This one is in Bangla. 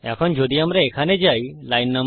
এখন যদি আমরা এখানে যাই line নো